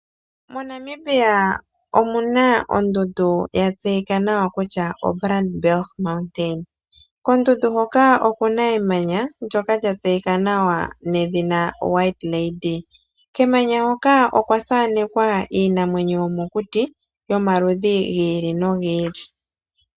MoNamibia omu na ondundu ya tseyika nawa kutya o Brandberg, kondundundu hoka oku na emanya ndyoka lya tseyika nawa nedhina White Lady. Kemanya hoka okwa thanekwa iinamwenyo yomokuti yomaludhi gi ili nogi ili.